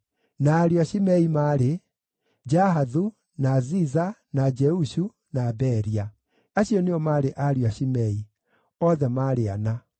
Na ariũ a Shimei maarĩ: Jahathu, na Ziza, na Jeushu, na Beria. Acio nĩo maarĩ ariũ a Shimei; othe maarĩ ana.